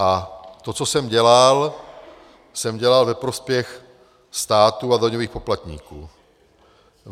A to, co jsem dělal, jsem dělal ve prospěch státu a daňových poplatníků.